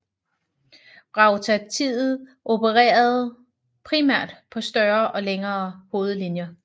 Rautatiet opererede primært på større og længere hovedlinjer